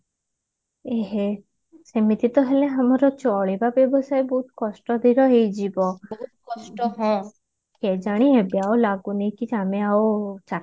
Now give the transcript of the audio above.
ଉଁ ହୁଁ ସେମିତି ତ ହେଲେ ଆମର ଚଲିବାକୁ ହେଇଯିବ କେଜାଣି ଏବେ ଆଉ ଲାଗୁନି କି ଆମ ଆଉ